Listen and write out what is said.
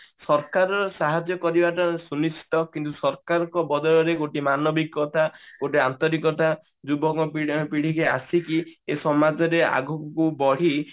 ସରକାର ସାହାଯ୍ୟ କରିବାଟା ସୁନିଶ୍ଚିତ କିନ୍ତୁ ସରକାର ଙ୍କ ବଦଳରେ ମାନବିକତା ଗୋଟେ ଆନ୍ତରିକତା ଯୁବକ ପିଢା ପିଢୀ କି ଆସିକି ଏ ସମାଜରେ ଆଗକୁ ବଢି